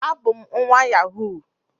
abum nwa yahoo